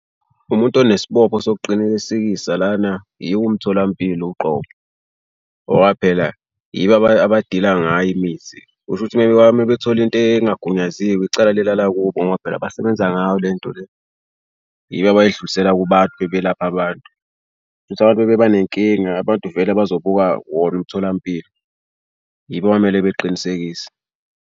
Umuntu onesibopho sokuqinisekisa lana yiwo umtholampilo uqobo ngoba phela yibo abadila ngayo imithi, kusho ukuthi uma uma bethole into engagunyaziwe icala lilala kubo ngoba phela basebenza ngayo le nto le. Yibo abayidlulisela kubantu uma belapha abantu. Shuthi abantu uma bebanenkinga abantu vele bazobuka wona umtholampilo, yibo okwamele beqinisekise.